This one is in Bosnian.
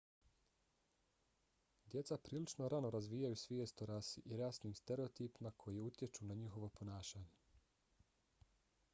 djeca prilično rano razvijaju svijest o rasi i rasnim stereotipima koji utječu na njihovo ponašanje